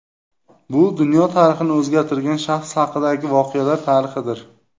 Bu dunyo tarixini o‘zgartirgan shaxs haqidagi voqelar tarixidir.